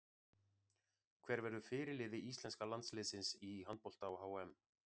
Hver verður fyrirliði íslenska landsliðsins í handbolta á HM?